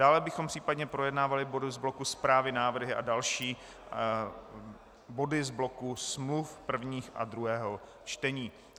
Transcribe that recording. Dále bychom případně projednávali body z bloku zprávy, návrhy a další body z bloku smluv prvního a druhého čtení.